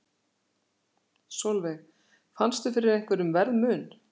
Sólveig: Fannstu fyrir einhverjum verðmun?